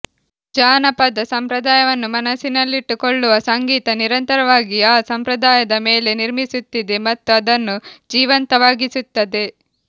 ಜಾನಪದ ಸಂಪ್ರದಾಯವನ್ನು ಮನಸ್ಸಿನಲ್ಲಿಟ್ಟುಕೊಳ್ಳುವ ಸಂಗೀತ ನಿರಂತರವಾಗಿ ಆ ಸಂಪ್ರದಾಯದ ಮೇಲೆ ನಿರ್ಮಿಸುತ್ತಿದೆ ಮತ್ತು ಅದನ್ನು ಜೀವಂತವಾಗಿಸುತ್ತದೆ